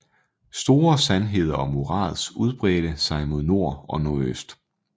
Store sandheder og morads udbredte sig mod nord og nordøst